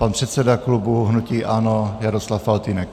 Pan předseda klubu hnutí ANO Jaroslav Faltýnek.